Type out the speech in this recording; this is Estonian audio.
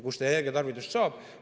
Kust energiat saab?